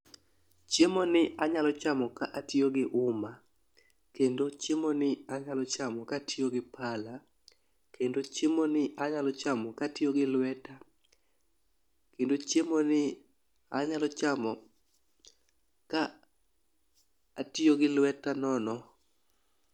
Chiemo ni anyalo chamo ka atiyo gi uma kendo chiemo ni anyalo chamo ka atiyo gi pala kendo chiemo ni anyalo chamo katiyo gi lweta kendo chiemo ni anyalo chamo ka atiyo gi lweta nono.